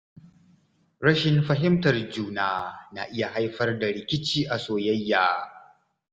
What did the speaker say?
Rashin fahimtar juna na iya haifar da rikici a soyayya.